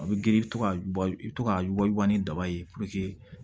A bɛ girin i bɛ to ka i bɛ to ka wajibiya ni daba ye